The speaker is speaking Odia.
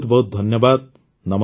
ବହୁତ ବହୁତ ଧନ୍ୟବାଦ